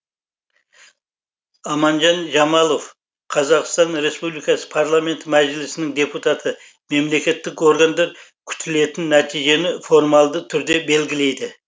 аманжан жамалов қазақстан республикасы парламенті мәжілісінің депутаты мемлекеттік органдар күтілетін нәтижені формалды түрде белгілейді